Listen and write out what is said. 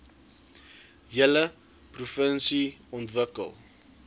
hele provinsie ontwikkel